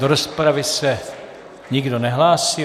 Do rozpravy se nikdo nehlásí.